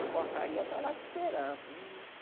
Na portaria, está lá te esperando.